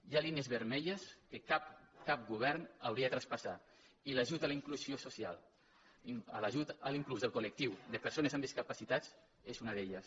hi ha línies vermelles que cap cap govern hauria de traspassar i l’ajut a la inclusió soci·al l’ajut a la inclusió del col·lectiu de persones amb discapacitats és una d’elles